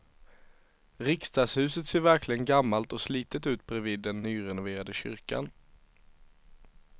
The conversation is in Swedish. Riksdagshuset ser verkligen gammalt och slitet ut bredvid den nyrenoverade kyrkan.